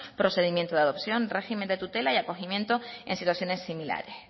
procedimiento de adopción régimen de tutela y acogimiento en situaciones similares